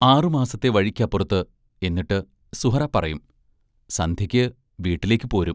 ആറുമാസത്തെ വഴിക്കപ്പുറത്ത് എന്നിട്ട്, സുഹ്റാ പറയും: സന്ധ്യയ്ക്ക് വീട്ടിലേക്ക്‌ പോരും